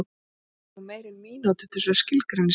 Maður þarf nú meira en mínútu til þess að skilgreina þessi grey